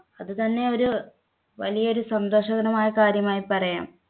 അതുതന്നെ ഒരു വലിയൊരു സന്തോഷകരമായ കാര്യമായി പറയാം.